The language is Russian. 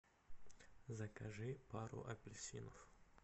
закажи пару апельсинов